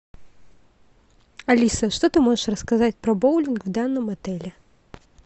алиса что ты можешь рассказать про боулинг в данном отеле